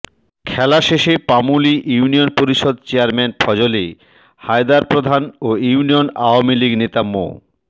খেলা শেষে পামুলী ইউনিয়ন পরিষদ চেয়ারম্যান ফজলে হায়দার প্রধান ও ইউনিয়ন আওয়ামীলীগ নেতা মো